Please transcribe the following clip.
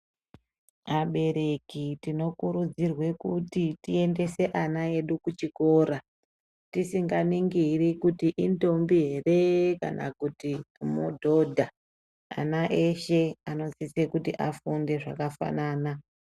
Abereki tinokurudzirwe kuti tiendese ana edu kuchikora, tisikaningiri kuti indombi here kana kuti mudhodha, ana eshe anosise kuti afunde zvakafanana.